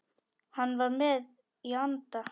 Hann var með í anda.